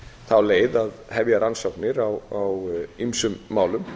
þá leið að hefja rannsóknir á ýmsu málum